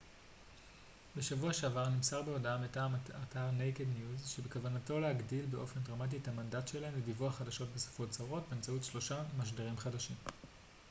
בשבוע שעבר נמסר בהודעה מטעם אתר נייקד ניוז שבכוונתם להגדיל באופן דרמטי את המנדט שלהם לדיווח חדשות בשפות זרות באמצעות שלושה משדרים חדשים